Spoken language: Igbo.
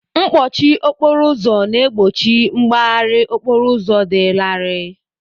Mkpọchi okporo ụzọ na-egbochi mgbaharị okporo ụzọ dị larịị.